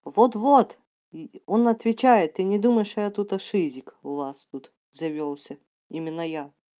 вот вот и он отвечает ты не думай что я тут шизик у вас тут завёлся именно я